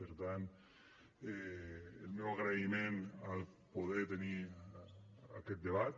per tant el meu agraïment al poder tenir aquest debat